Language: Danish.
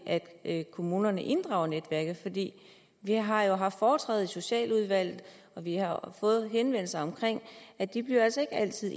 at kommunerne inddrager netværket vi har haft foretræde i socialudvalget og vi har fået henvendelser om at de altså ikke altid